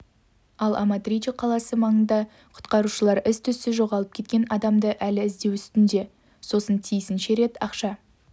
ал аматриче қаласы маңында құтқарушылар із-түзсіз жоғалып кеткен адамды әлі іздеу үстінде сосын тиісінше рет ақша